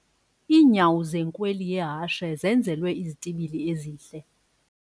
Iinyawo zenkweli yehashe zenzelwe izitibili ezihle.